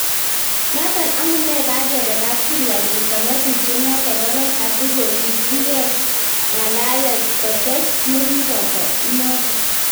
Notok amunei kagepee kapkirwog keisto ng'atutiet notok korog, asigosikyi keng�alal kates negipoto inotok